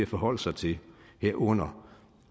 forholde sig til herunder